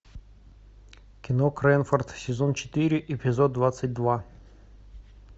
кино крэнфорд сезон четыре эпизод двадцать два